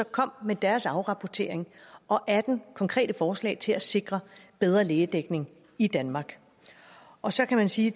kom med deres afrapportering og atten konkrete forslag til at sikre bedre lægedækning i danmark og så kan man sige